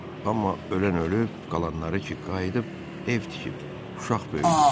Amma ölən ölüb, qalanları ki qayıdıb, ev tikib, uşaq böyüdüb.